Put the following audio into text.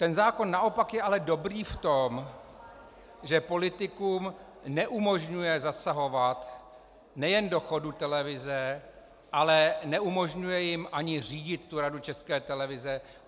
Ten zákon naopak je ale dobrý v tom, že politikům neumožňuje zasahovat nejen do chodu televize, ale neumožňuje jim ani řídit Radu České televize.